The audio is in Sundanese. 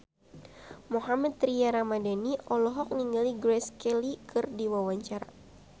Mohammad Tria Ramadhani olohok ningali Grace Kelly keur diwawancara